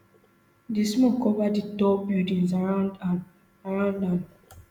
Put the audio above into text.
di smoke cover di tall buildings around am around am